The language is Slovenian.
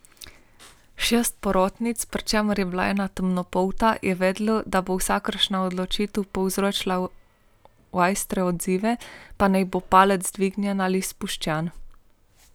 Šest porotnic, pri čemer je bila ena temnopolta, je vedelo, da bo vsakršna odločitev povzročila ostre odzive, pa naj bo palec dvignjen ali spuščen.